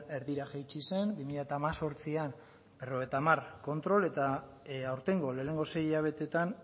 erdira jaitsi zen bi mila hemezortzian berrogeita hamar kontrol eta aurtengo lehenengo sei hilabeteetan